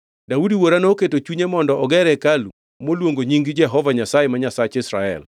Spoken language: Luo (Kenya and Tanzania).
“Daudi wuora noketo e chunye mondo oger hekalu moluongo nying Jehova Nyasaye, ma Nyasach Israel.